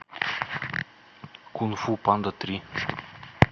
кунг фу панда три